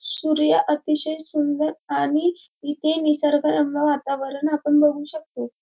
सूर्य अतिशय सुंदर आणि इथे निसर्ग रम्य वातावरण आपण बघू शकतो.